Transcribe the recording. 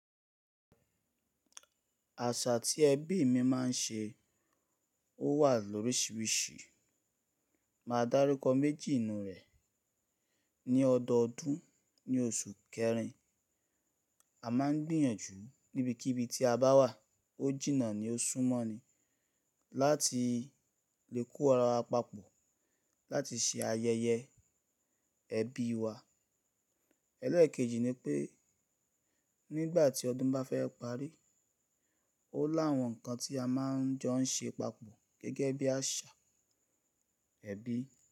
Àṣà tí ẹbí mi máa ń ṣe, ó wà lórisìírìsí. Màá dárúkọ méjì nú rẹ̀. Ni ọdọọdún ní oṣù kẹrin, a máa ń gbìyànjú níbikíbi tí a bá wà, ó jìnnà ni ó súnmọ́ ni, láti lè kó ara wa papọ̀ láti ṣe ayẹyẹ ẹbí wa. Ẹlẹ́ẹ̀kejì ni pé nígbà tí ọdún bá fẹ́ parí, ó lá àwọn nǹkan tí a máa ń jọ ń ṣe papọ̀ gẹ́gẹ́ bí àṣà ẹbí.